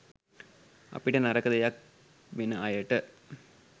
අපිට නරක දෙයක් වෙන අයට